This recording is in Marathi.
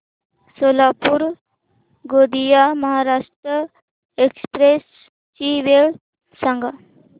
सोलापूर गोंदिया महाराष्ट्र एक्स्प्रेस ची वेळ सांगा